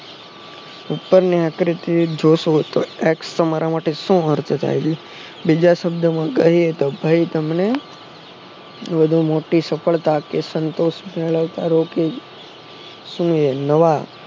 ઉપરની આકૃતિ જોશો તો X તો મારા માટે શું બીજા શબ્દોમાં કહીએ તો ભઈ તમને વધુ મોટી સફળતા કે સંતોષ શું એ નવા